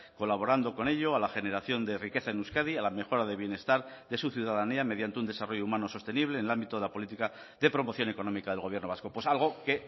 colaborando con ello a la generación de riqueza en euskadi a la mejora de bienestar de su ciudadanía mediante un desarrollo humano sostenible en el ámbito de la política de promoción económica del gobierno vasco pues algo que